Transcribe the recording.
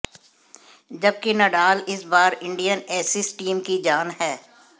जबकि नडाल इस बार इंडियन ऐसिस टीम की जान हैं